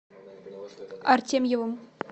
артемьевым